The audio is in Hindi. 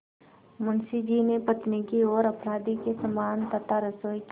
मुंशी जी ने पत्नी की ओर अपराधी के समान तथा रसोई की